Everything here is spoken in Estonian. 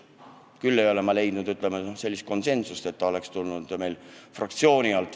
Paraku ei ole ma leidnud sellist konsensust, et esitada see fraktsiooni nimel.